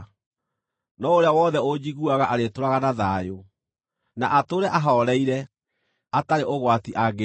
no ũrĩa wothe ũnjiguaga arĩtũũraga na thayũ, na atũũre ahooreire, atarĩ ũgwati angĩĩtigĩra.”